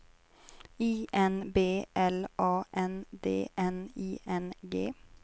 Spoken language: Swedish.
I N B L A N D N I N G